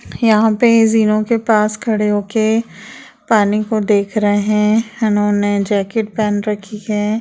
यहाँ पर झीलों के पास खड़े होके पानी को देख रहे है इन्होने जाकेट पहन रखी है।